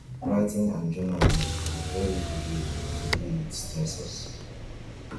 writing and journaling na very good wey to deal with stressors